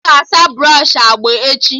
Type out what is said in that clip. Aga asa brọshị agba echi